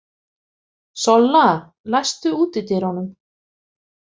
Solla, læstu útidyrunum.